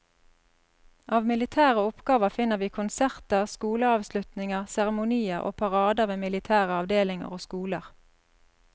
Av militære oppgaver finner vi konserter, skoleavslutninger, seremonier og parader ved militære avdelinger og skoler.